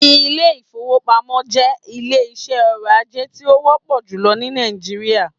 Ilé ìfọwọ́pamo jẹ́ ilé iṣé ọrọ̀ ajé tí o wọ́pọ̀ júlọ ní Nàìjíríà.